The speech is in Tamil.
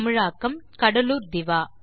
தமிழாக்கம் கடலூர் திவா